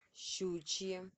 щучье